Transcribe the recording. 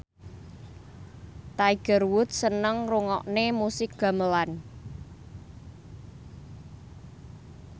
Tiger Wood seneng ngrungokne musik gamelan